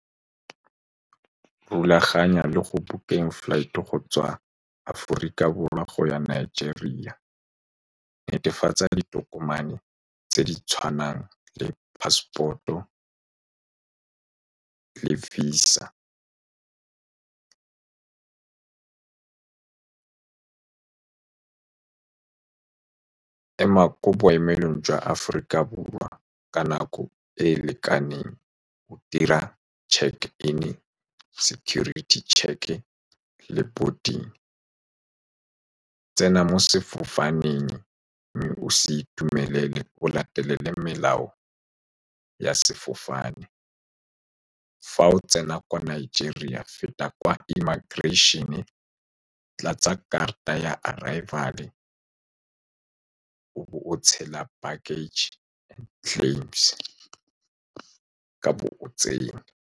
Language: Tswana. Rulaganya le go bukeng flight-e go tswa Aforika Borwa go ya Nigeria. Netefatsa ditokomane tse di tshwanang le passport-o le visa, ema kwa boemelong jwa Aforika Borwa ka nako e e lekaneng, dira check-in, security check-e le boarding. Tsena mo sefofaneng mme o se itumelele. O latelele melao ya sefofane. Fa o tsena kwa Nigeria, feta kwa immigration-e, tlatsa karata ya arival-e, o bo o tshela baggage claims, o ka bo o tsene.